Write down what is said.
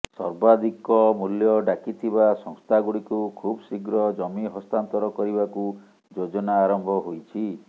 ସର୍ବାଧିକ ମୂଲ୍ୟ ଡାକିଥିବା ସଂସ୍ଥାଗୁଡ଼ିକୁ ଖୁବ୍ ଶୀଘ୍ର ଜମି ହସ୍ତାନ୍ତର କରିବାକୁ ଯୋଜନା ଆରମ୍ଭ ହୋଇଛି